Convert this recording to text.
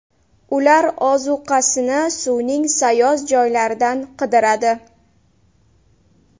Ular ozuqasini suvning sayoz joylaridan qidiradi.